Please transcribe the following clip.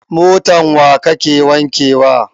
Motan wa kake wanke wa?